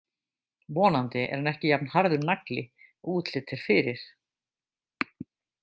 Vonandi er hann ekki jafn harður nagli og útlit er fyrir.